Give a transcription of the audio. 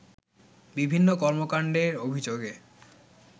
বিভিন্ন কর্মকাণ্ডের অভিযোগে